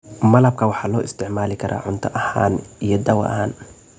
Malabka waxaa loo isticmaali karaa cunto ahaan iyo daawo ahaan.